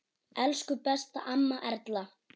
Elsku besta amma Erla.